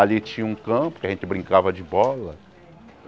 Ali tinha um campo que a gente brincava de bola.